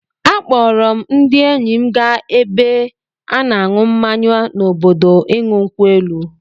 A kpọọrọ m ndị enyi m gaa n'ebe a na-ṅụ mmanya n'obodo ịṅụ nkwụ elu.